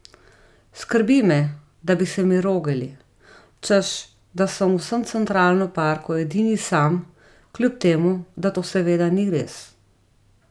Skrbi me, da bi se mi rogali, češ da sem v vsem Centralnem parku edini sam, kljub temu, da to seveda ni res.